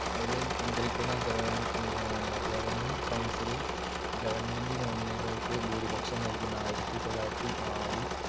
അതിലെ നിയന്ത്രിക്കുന്ന ഗവ~ അഹ് governing council ൽ government nominee കൾക്ക് ഭൂരിപക്ഷം നൽകുന്ന ആയിരത്തിതൊള്ളായിരത്തിനാലിൽ